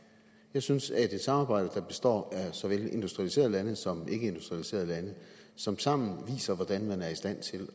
jeg synes at et samarbejde der består af såvel industrialiserede lande som ikkeindustrialiserede lande som sammen viser hvordan man er i stand til